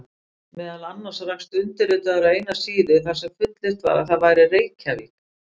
Meðal annars rakst undirritaður á eina síða þar sem fullyrt var að það væri Reykjavík!